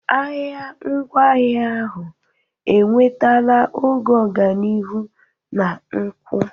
Ahịa ngwaahịa ahụ enwetala oge ọganihu na nkwụ.